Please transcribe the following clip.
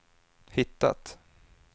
hittat